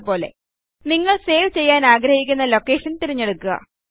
മുമ്പത്തെപ്പോലെ നിങ്ങൾ സേവ് ചെയ്യാനാഗ്രഹിക്കുന്ന ലൊക്കേഷൻ തിരഞ്ഞെടുക്കുക